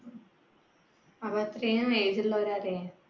age ഉള്ളവരാലെ